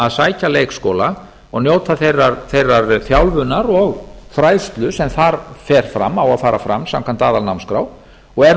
að sækja leikskóla og njóta þeirrar þjálfunar og fræðslu sem þar á að fara fram samkvæmt aðalnámskrár og er nú